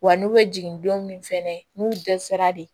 Wa n'u bɛ jigin don min fɛnɛ n'u dɛsɛra de